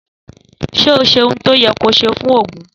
Sẹ ó sẹ ìtọ yẹ kọ sẹ fún ògún